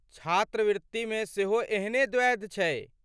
छात्रवत्तिमे सेहो एहने द्वैध छै।